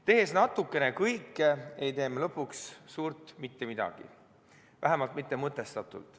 Tehes natukene kõike, ei tee me lõpuks suurt mitte midagi – vähemalt mõtestatult.